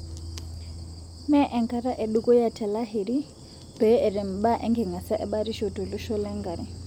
Mee enkata edukuya te Lahiri pee etem mbaa enkingasia ebatisho tolosho lengare.